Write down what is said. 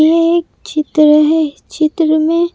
ये एक चित्र है चित्र में--